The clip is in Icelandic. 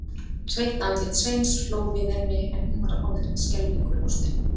Sveitt andlit Sveins hló við henni en hún var orðin skelfingu lostin.